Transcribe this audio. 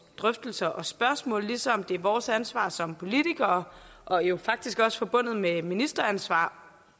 drøftelser og spørgsmål ligesom det er vores ansvar som politikere og jo faktisk også forbundet med ministeransvar